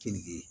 Keninge